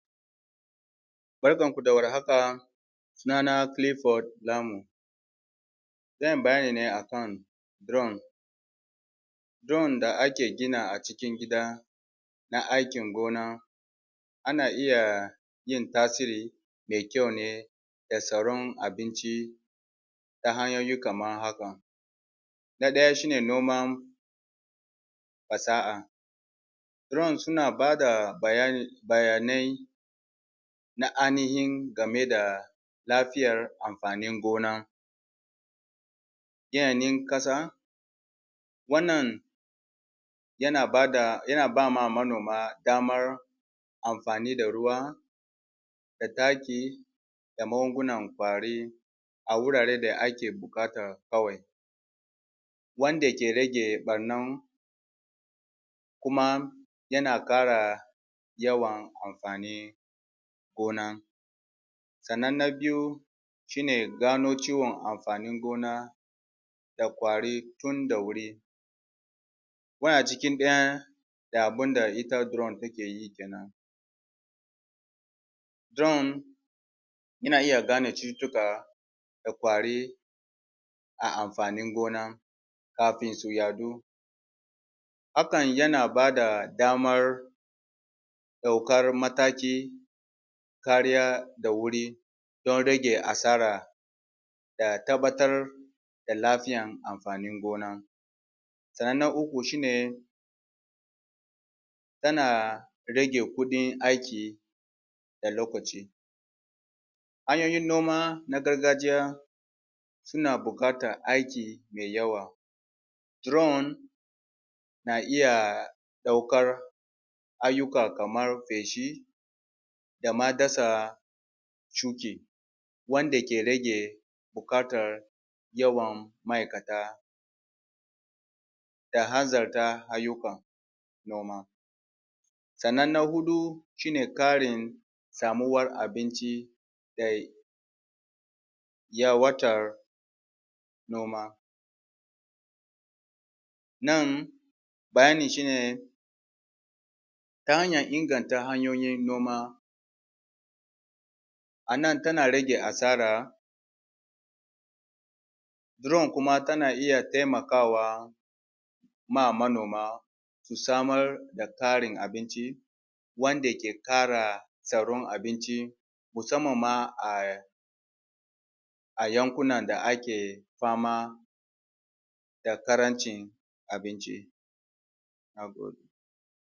Barkan ku da warhaka suna na Clifford Zamu zan yi bayani ne akan drone drone da ake gina a cikin gida na aikin gona a na iya yin tasiri me kyau ne da tsaron abinci da hanyoyi kaman haka na ɗaya shi ne noman fasaha drone suna bada bayanai na ainihin game da lafiyar amfanin gona yanayin ƙasa, wannan yana bama manoma damar amfani da ruwa, da taki, da magungunan ƙwari a wuraren da ake buƙata kawai wanda ke rage ɓarnan kuma yana ƙara yawan amfanin gona sannan na biyu shi ne gano ciwon amfanin gona da ƙwari tun da wuri akwai a ciki ɗaya da abinda ita drone take yi drone yana iya gane cututtuka da ƙwari a amfanin gona kafin su yaɗu hakan yana bada damar ɗaukar mataki, kariya da wuri dan rage asara da tabbatar da lafiyan amfanin gona, sannan na uku shi ne yana rage kuɗin aiki da lokaci hanyoyin noma na gargajiya suna buƙatan aiki me yawa, drone na iya ɗaukar ayyuka kamar feshi, dama dasa shuke wanda ke rage buƙatan yawan ma'aikata. da hanzarta ayyuka, noma sannan na huɗu shi ne ƙarin samuwar abinci da yawaitar noma nan bayanin shi ne ta hanyan inganta hanyoyin noma a nan tana rage asara drone kuma tana iya taimakawa ma manoma, su samar da tarin abinci wanda ke ƙara tsaron abinci musamman ma a a yankuna da ake ba ma da ƙarancin abinci na gode.